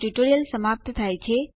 વધુ વિગતો માટે અમને સંપર્ક કરો